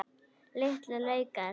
Litlu laukar.